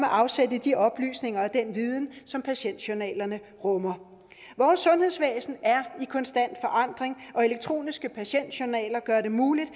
afsæt i de oplysninger og den viden som patientjournalerne rummer vores sundhedsvæsen er i konstant forandring og elektroniske patientjournaler gør det muligt